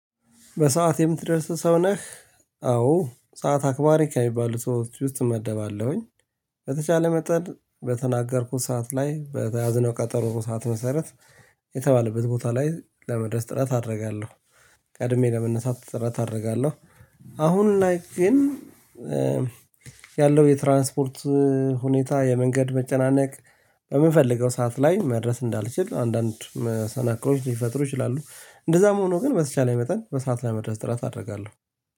በሰአት የምትደርስ ሰው ነህ? አዎ ሰዓት አክባሪ ከሚባሉት ሰዎች ውስጥ እመደባለሁኝ። በተቻለ መጠን በተናገርኩት ሰዓት ላይ በተያዝነው ቀጠሮ ሰዓት መሰረት። የተባለበት ቦታ ላይ ለመድረስ ጥረት አደርጋለሁ። ቀድሜ ለመነሳት ጥረት አደርጋለሁ። አሁን ላይ ግን። ያለው የትራንስፖርት ሁኔታ የመንገድ መጨናነቅ በምንፈልገው ሰዓት ላይ መድረስ እንዳልችል አንዳንድ መሰናክሎች ሊፈጥሩ ይችላሉ። እንደዛም ሆኖ ግን በተቻለ መጠን በሰአት ለመድረስ ጥረት አደርጋለሁ።